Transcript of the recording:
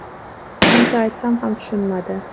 Qancha aytsam ham tushunmadi.